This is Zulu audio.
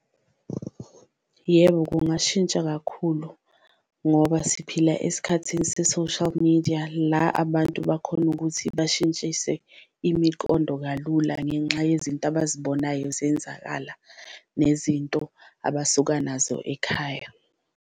Yebo, kungashintsha kakhulu ngoba siphila esikhathini se-social media la abantu abakhona ukuthi bashintshise imiqondo kalula ngenxa yezinto abazibonayo zenzakala, nezinto abasuka nazo ekhaya.